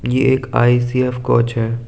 ये एक I C F coach है।